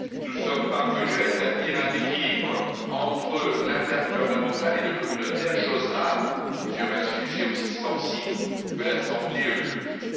Nous sommes parvenus à établir un équilibre entre l'intergouvernemental et le communautaire, chose rare sur un sujet aussi sensible que la santé publique.